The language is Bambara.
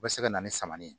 O bɛ se ka na ni saman ye